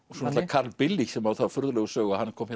sem á þá furðulegu sögu að hann kom